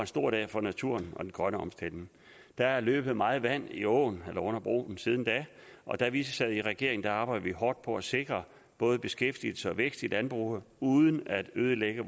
stor dag for naturen og den grønne omstilling der er løbet meget vand i åen eller under broen siden da og da vi sad i regering arbejdede vi hårdt på at sikre både beskæftigelse og vækst i landbruget uden at ødelægge